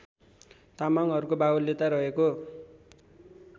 तामाङहरूको बाहुल्यता रहेको